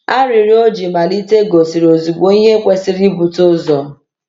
Arịrịọ o ji malite gosiri ozugbo ihe kwesịrị ibute ụzọ.